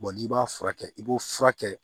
n'i b'a furakɛ i b'o furakɛ